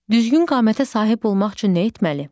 Düzgün qamətə sahib olmaq üçün nə etməli?